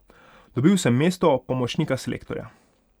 Dobil sem mesto pomočnika selektorja.